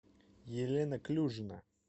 елена клюжина